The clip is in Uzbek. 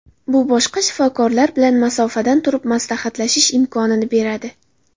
Bu boshqa shifokorlar bilan masofadan turib maslahatlashish imkonini beradi.